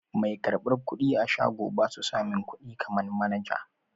Mai karɓar kuɗi a shago basu samin kuɗi kaman manaja.